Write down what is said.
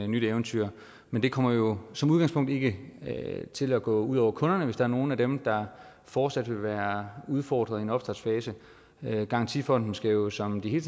nyt eventyr men det kommer jo som udgangspunkt ikke til at gå ud over kunderne hvis der er nogen af dem der fortsat vil være udfordret i en opstartsfase garantifonden skal jo som de hele